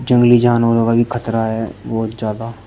जंगली जानवरों का भी खतरा है बहुत ज्यादा।